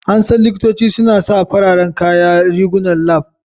An san likitocin suna sa fararen kaya / rigunan lab.